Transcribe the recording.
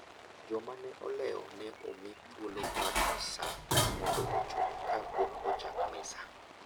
Joma ne olewo ne omi thuolo mar nus sa mondo ochop ka pok ochak misa.